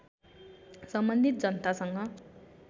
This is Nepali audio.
सम्बन्धित जनतासँग